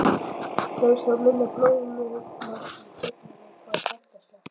Kemst þá minna blóðmagn í gegn við hvert hjartaslag.